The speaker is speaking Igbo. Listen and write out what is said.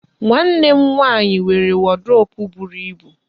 Nwanne m nwaanyị nwere wọdrobụ buru ibu.